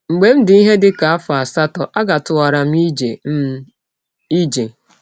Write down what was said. Mgbe m dị ihe dị ka afọ asatọ, agatụwara m ije. m ije.